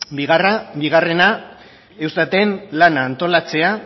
bigarrena eustaten lana antolatzea